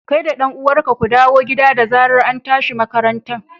kai da dan uwanka ku dawo gida da zarar antashi makaranta.